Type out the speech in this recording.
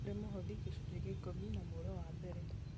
nĩkũri mũhothi, gĩcunjĩ gĩa ikũmi na mũro wa mbere